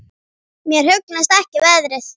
Mér hugnast ekki veðrið.